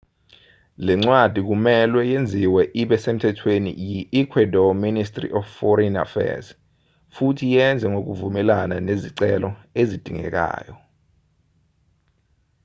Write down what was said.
lencwadi kumelwe yenziwe ibe semthethweni yi-ecuadore ministry of foreign affairs futhi yenze ngokuvumelana nezicelo ezidingekayo